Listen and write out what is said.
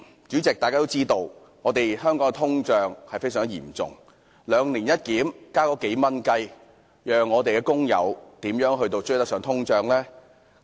主席，大家都知道香港的通脹問題非常嚴重，"兩年一檢"只上調數元，試問工友的收入怎能追上通脹？